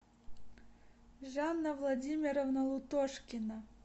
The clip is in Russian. жанна владимировна лутошкина